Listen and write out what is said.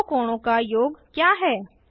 दो कोणों का योग क्या है